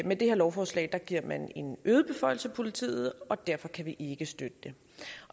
med det her lovforslag giver man en øget beføjelse til politiet og derfor kan vi ikke støtte det